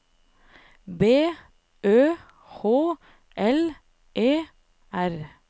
B Ø H L E R